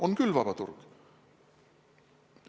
On küll vaba turg.